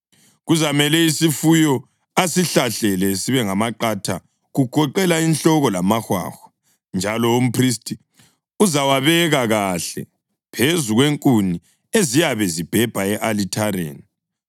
Kuzamele isifuyo asihlahlele sibe ngamaqatha, kugoqela inhloko lamahwahwa, njalo umphristi uzawabeka kahle phezu kwenkuni eziyabe zibhebha e-alithareni.